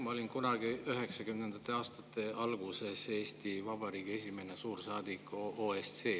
Ma olin kunagi üheksakümnendate aastate alguses Eesti Vabariigi esimene suursaadik OSCE-s.